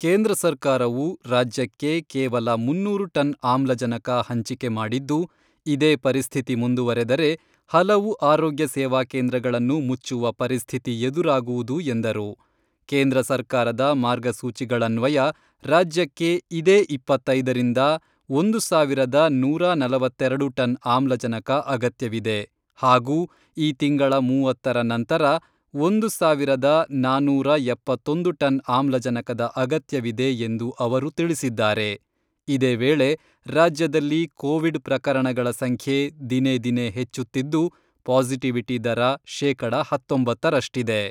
ಕೇಂದ್ರ ಸರ್ಕಾರವು ರಾಜ್ಯಕ್ಕೆ ಕೇವಲ ಮುನ್ನೂರು ಟನ್ ಆಮ್ಲಜನಕ ಹಂಚಿಕೆ ಮಾಡಿದ್ದು, ಇದೇ ಪರಿಸ್ಥಿತಿ ಮುಂದುವರೆದರೆ ಹಲವು ಆರೋಗ್ಯ ಸೇವಾ ಕೇಂದ್ರಗಳನ್ನು ಮುಚ್ಚುವ ಪರಿಸ್ಥಿತಿ ಎದುರಾಗುವುದು ಎಂದರು.ಕೇಂದ್ರ ಸರ್ಕಾರದ ಮಾರ್ಗಸೂಚಿಗಳನ್ವಯ ರಾಜ್ಯಕ್ಕೆ ಇದೇ ಇಪ್ಪತ್ತೈದರಿಂದ, ಒಂದು ಸಾವಿರದ ನೂರಾ ನಲವತ್ತೆರೆಡು ಟನ್ ಆಮ್ಲಜನಕ ಅಗತ್ಯವಿದೆ ಹಾಗೂ ಈ ತಿಂಗಳ ಮೂವತ್ತರ ನಂತರ ಒಂದು ಸಾವಿರದ ನಾನೂರ ಎಪ್ಪತ್ತೊಂದು ಟನ್ ಆಮ್ಲಜನಕದ ಅಗತ್ಯವಿದೆ ಎಂದು ಅವರು ತಿಳಿಸಿದ್ದಾರೆ.ಇದೇ ವೇಳೆ ರಾಜ್ಯದಲ್ಲಿ ಕೋವಿಡ್ ಪ್ರಕರಣಗಳ ಸಂಖ್ಯೆ ದಿನೇ ದಿನೇ ಹೆಚ್ಚುತ್ತಿದ್ದು, ಪಾಸಿಟಿವಿಟಿ ದರ ಶೇಕಡ ಹತ್ತೊಂಬತ್ತರಷ್ಟಿದೆ.